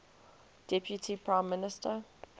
deputy prime minister